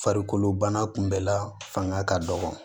Farikolo bana kunbɛ la fanga ka dɔgɔ